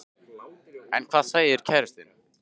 En hvað segir kærastinn?